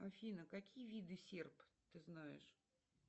афина какие виды серп ты знаешь